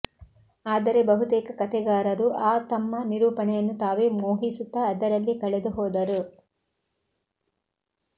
ಆದರೆ ಬಹುತೇಕ ಕತೆಗಾರರು ಆ ತಮ್ಮ ನಿರೂಪಣೆಯನ್ನು ತಾವೇ ಮೋಹಿಸುತ್ತಾ ಅದರಲ್ಲೇ ಕಳೆದುಹೋದರು